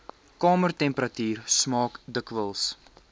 kamertemperatuur smaak dikwels